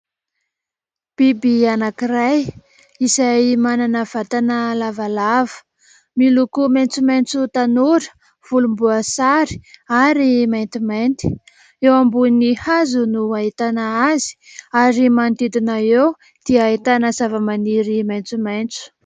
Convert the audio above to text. Biby anankiray izay manana vatana lavalava, miloko maitsomaitso tanora, volomboasary ary maintimainty, eo ambony hazo no ahitana azy ary manodidina eo dia ahitana zava-maniry maitsomaitso.